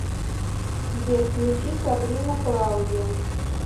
сбер включи сабрина клаудио